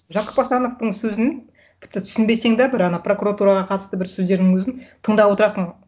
жақып асановтың сөзін тіпті түсінбесең де бір ана прокуратураға қатысты бір сөздерінің өзін тыңдап отырасың